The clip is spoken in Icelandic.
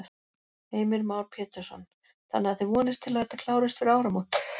Heimir Már Pétursson: Þannig að þið vonist til að þetta klárist fyrir áramót?